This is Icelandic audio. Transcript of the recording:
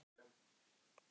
Þar er ég öllum týndur.